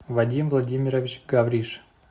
вадим владимирович гавриш